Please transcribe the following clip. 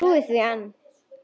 Trúir því enn.